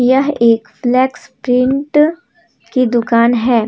यह एक slacks print की दुकान है।